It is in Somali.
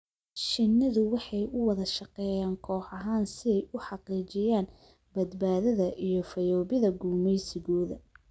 Shinnidu waxay u wada shaqeeyaan koox ahaan si ay u xaqiijiyaan badbaadada iyo fayoobida gumaysigooda.